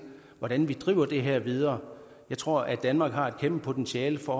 hvordan vi driver det her videre jeg tror at danmark har et kæmpe potentiale for